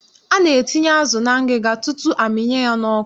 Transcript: A na-etinye azụ na ngịga tutu a mịnye ya n'ọkụ